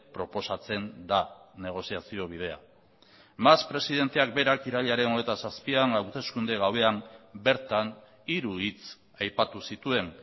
proposatzen da negoziazio bidea mas presidenteak berak irailaren hogeita zazpian hauteskunde gauean bertan hiru hitz aipatu zituen